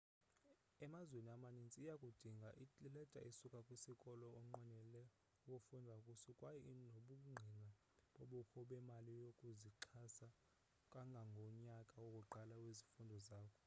emazweni amanintsi uyakudinga ileta esukaa kwisikolo onqwenela ukufunda kuso kwaye nobungqina bobukho bemali yokuzixhasa kangangonyaka wokuqala wezifundo zakho